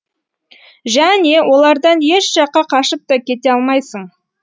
және олардан еш жаққа қашып та кете алмайсың